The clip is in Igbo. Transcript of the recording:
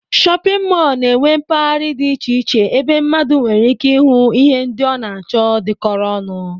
Shọpịn mọl na-enwe mpaghara dị iche iche ebe mmadụ nwereike ịhụ ihe ndị ọ na-achọ dịkọrọ ọnụ